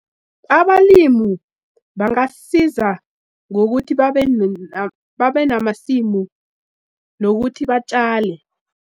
Abalimu bangasiza ngokuthi babe babe namasimu nokuthi batjale.